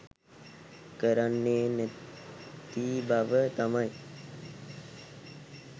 කරන්නේ නැති බව තමයි